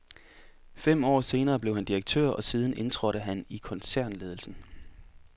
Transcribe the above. Fem år senere blev han direktør og siden indtrådte han i koncernledelsen.